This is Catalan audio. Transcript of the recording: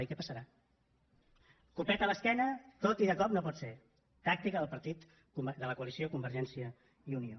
i què passarà copet a l’esquena tot i de cop no pot ser tàctica de la coalició convergència i unió